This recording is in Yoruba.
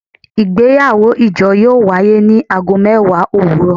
Igbeyawo ijo yoo waye ni aago mẹwa owurọ